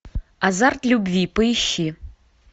азарт любви поищи